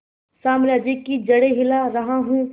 साम्राज्य की जड़ें हिला रहा हूं